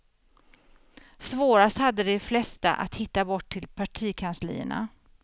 Svårast hade de flesta att hitta bort till partikanslierna.